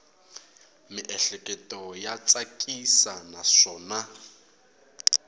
miehleketo ya tsakisa naswona